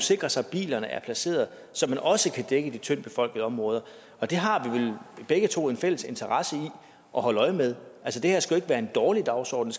sikre sig at bilerne er placeret så man også kan dække de tyndt befolkede områder og det har vi vel begge to en interesse i at holde øje med altså det her skal jo ikke være en dårlig dagsorden